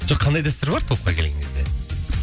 жоқ қандай дәстүр бар топқа келген кезде